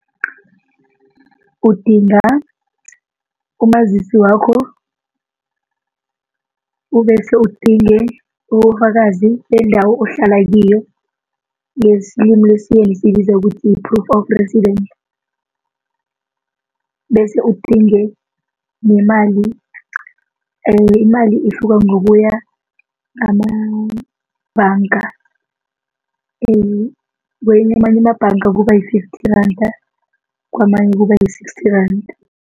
Udinga umazisi wakho ubese udinge ubufakazi bendawo ohlala kiyo ngelimi lesiyeni siyibiza ukuthi yi-proof of residence bese udinge nemali imali ihluka ngokuya ngamabhanga kwamanye amabhanga kuba yi-fitfy randa kwamanye kuba yi-sixty randa.